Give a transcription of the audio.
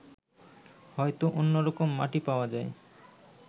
হয়ত অন্যরকম মাটি পাওয়া যায়